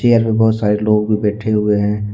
बहुत सारे लोग भी बैठे हुए हैं।